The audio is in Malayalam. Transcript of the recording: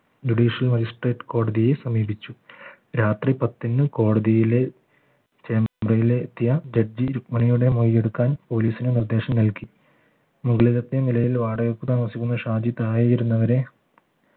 judicial magistrate കോടതിയെ സമീപിച്ചു രാത്രി പത്തിന് കോടതിയിലെ ചെമ്പ്രയിലെത്തിയ ജഡ്ജി രുഗ്മിണിയുടെ മൊഴി എടുക്കാൻ police ന് നിർദ്ദേശം നൽകി മുകളിലത്തെ നിലയിൽ വാടകയ്ക്ക് താമസിക്കുന്ന ഷാജി താഴെയിരുന്ന വരെ